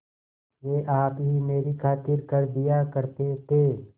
वे आप ही मेरी खातिर कर दिया करते थे